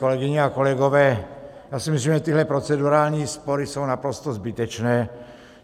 Kolegyně a kolegové, já si myslím, že tyhle procedurální spory jsou naprosto zbytečné.